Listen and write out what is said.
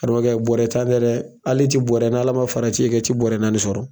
Karamɔgɔkɛ bɔrɛ tan tɛ ali ti bɔrɛ n'ALA ma fara i ti bɔrɛ naani sɔrɔ.